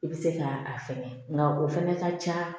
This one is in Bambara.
I bɛ se ka a fɛnɛ nka o fana ka ca